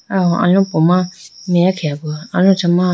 qwo alopo ma meya khege aguwa aluchi ma.